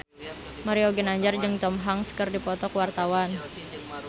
Mario Ginanjar jeung Tom Hanks keur dipoto ku wartawan